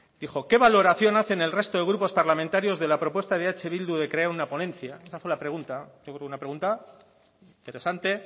dijo qué valoración hace el resto de grupos parlamentarios de la propuesta de eh bildu de crear una ponencia esa fue la pregunta yo creo que una pregunta interesante